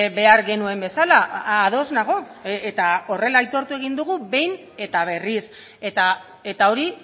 behar genuen bezala ados nago eta horrela aitortu egin dugu behin eta berriz eta hori